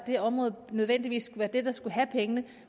det område så nødvendigvis være det der skal have pengene